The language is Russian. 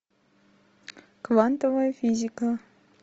квантовая физика